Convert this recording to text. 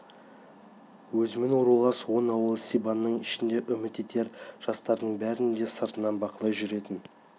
өзімен рулас он ауыл сибанның ішінде үміт етер жастардың бәрін де сыртынан бақылай жүретін